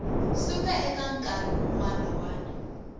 suka eka nkarhi wun wana